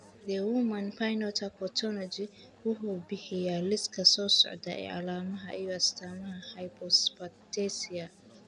The Human Phenotype Ontology wuxuu bixiyaa liiska soo socda ee calaamadaha iyo astaamaha Hypophosphatasia.